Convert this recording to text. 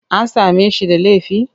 An same shi da laifi?